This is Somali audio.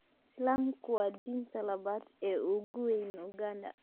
Islaamku waa diinta labaad ee ugu weyn Uganda.